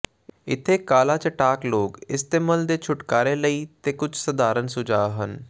ਇੱਥੇ ਕਾਲਾ ਚਟਾਕ ਲੋਕ ਇਸਤੇਮਲ ਦੇ ਛੁਟਕਾਰੇ ਲਈ ਤੇ ਕੁਝ ਸਧਾਰਨ ਸੁਝਾਅ ਹਨ